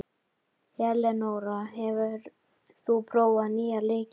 Elenóra, hefur þú prófað nýja leikinn?